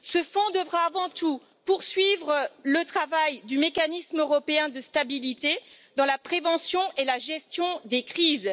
Ce fonds devra avant tout poursuivre le travail du Mécanisme européen de stabilité dans la prévention et la gestion des crises.